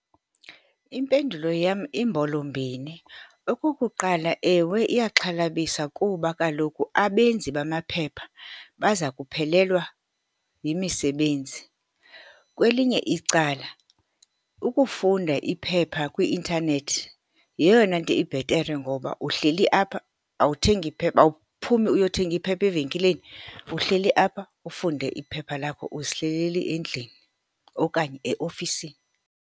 Impendulo yam imbolo-mbini. Okokuqala, ewe, iyaxhalabisa kuba kaloku abenzi bamaphepha baza kuphelelwa yimisebenzi. Kwelinye icala ukufunda iphepha kwi-intanethi yeyona nto ibhetere ngoba uhleli apha, awuthengi phepha, awuphumi uyothenga iphepha evenkileni. Uhleli apha ufunde iphepha lakho uzihlelele endlini, okanye eofisini.